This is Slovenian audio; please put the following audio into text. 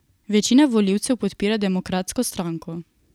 Večina volivcev podpira demokratsko stranko.